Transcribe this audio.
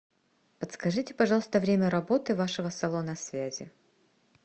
подскажите пожалуйста время работы вашего салона связи